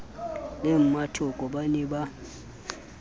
le mmatoko ba ne ba